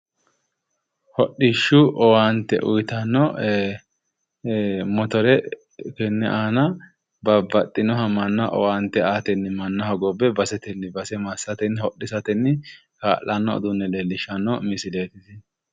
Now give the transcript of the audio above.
Hodhishu owaante uyittano motors tenne aanna babbaxinoha owaante aatenni manna hogobe basetenni base massatenni hodhissatenni kaa'lano uduune leelishano misileeti.